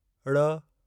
ड़